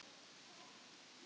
Blín, hvenær kemur ásinn?